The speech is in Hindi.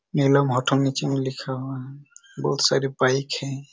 नीलम ओथोमाचिंग लिखा हुआ हैं बहुत सारी बाइक हैं।